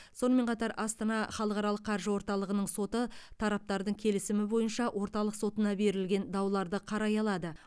сонымен қатар астана халықаралық қаржы орталығының соты тараптардың келісімі бойынша орталық сотына берілген дауларды қарай алады